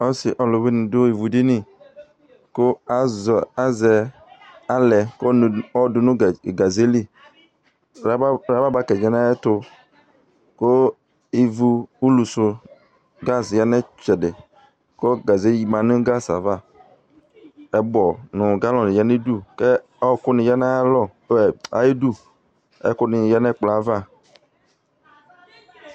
Ɔsɩ ɔlʋwɩnɩ dʋ ɩvʋ dini kʋ azɛ alɛ kʋ ayɔ dʋ nʋ gaze li Lababakɛ ya nʋ ayʋ ɛtʋ, kʋ ɩvʋ ʋlʋsʋ 'gazɩ' ya nʋ ɩtsɛdɩ, kʋ gaze dɩ ma nʋ gazɩ yɛ ava Ɛkpɔ nʋ galɔnɩ ya nʋ udu kʋ ɔɔkʋ nɩ ya nʋ ayʋ ɩdʋ Ɔɔkʋ nɩ yǝ nʋ ɛkplɔ yɛ ava